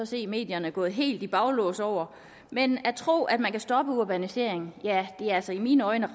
se i medierne gået helt i baglås over men at tro at man kan stoppe urbaniseringen er altså i mine øjne